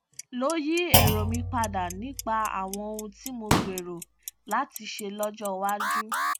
ló yí èrò mi padà nípa àwọn ohun tí mò ń gbèrò láti ṣe lójó iwájú